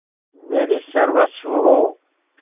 मेरी सर्वस्व हो